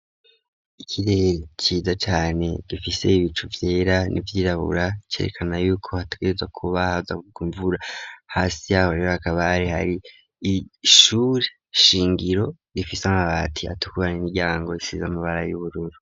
Ikirere ciza cane, gifise ibicu vyera n'ivyirabura, cerekana yuko hategerezwa kuba haza kugwa imvura, hasi yaho rero hakaba hari ishure shingiro rifise amabati atukura, n'imiiryango isize amabara y'ubururu.